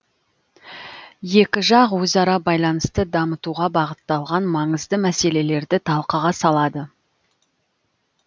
екі жақ өзара байланысты дамытуға бағытталған маңызды мәселелерді талқыға салады